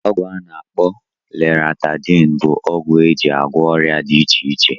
ọgwụ ana akpo Loratadine bụ ọgwụ eji agwọ ọrịa dị iche iche.